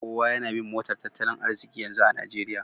Kowa yana bin motar tattalin arziki yanzu a Najeriya